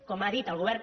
com ha dit el govern